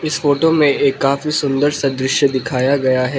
इस फोटो में ये काफी सुंदर सा दृश्य दिखाया गया है।